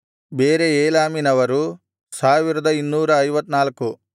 ಬೇರೆ ಏಲಾಮಿನವರು 1254